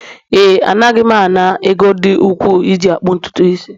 Ee, Anaghị m ana m ego dị ukwu iji akpụ ntutu isi